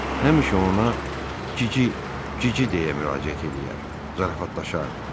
Həmişə ona cici, cici deyə müraciət eləyər, zarafatlaşardı.